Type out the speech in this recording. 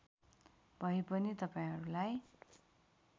भए पनि तपाईँहरूलाई